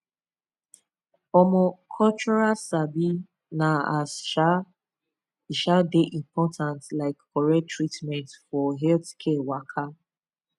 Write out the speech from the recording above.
omo cultural sabi na as um e um dey important like correct treatment for healthcare waka